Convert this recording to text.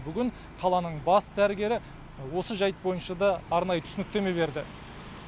бүгін қаланың бас дәрігері осы жайт бойынша да арнайы түсініктеме берді